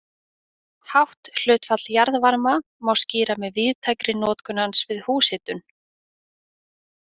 Hátt hlutfall jarðvarma má skýra með víðtækri notkun hans við húshitun.